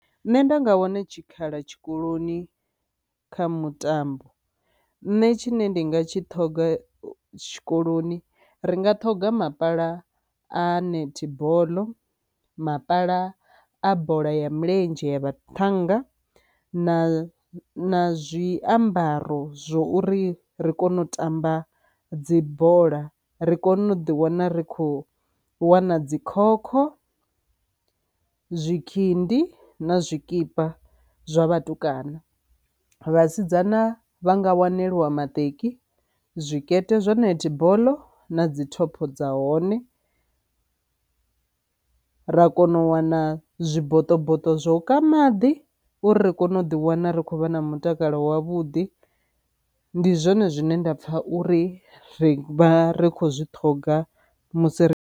Nṋe nda nga wana tshikhala tshikoloni kha mutambo nṋe tshine ndinga tshi ṱhoga tshikoloni ri nga ṱhoga mapala a netball, mapala a bola ya milenzhe ya vhathannga na na zwiambaro zwo uri ri kone u tamba dzibola ri kone u ḓi wana ri khou wana dzi khokho, zwikhindi na zwikipa zwa vhatukana. Vhasidzana vha nga waneliwa maṱeki, zwikete zwa netball na dzi thopho dza hone ra kona u wana zwiboṱoboṱo zwa u ka maḓi uri ri kone u ḓi wana ri khou vha na mutakalo wavhuḓi, ndi zwone zwine nda pfha uri ri vha ri khou zwi ṱhoga musi ri